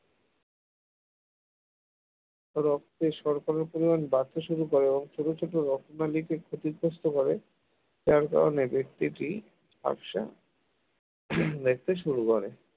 রক্তে শর্করার পরিমাণ বাড়তে শুরু করে ছোট ছোট রক্ত দানিকে ক্ষতিগ্রস্ত করে যার কারণে দৃষ্টিটি ঝাপসা উহ দেখতে শুরু করে